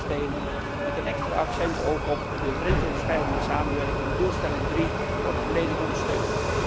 Alle bouwstenen met een extra accent ook op de grensoverschrijdende samenwerking doelstelling 3 worden volledig ondersteund.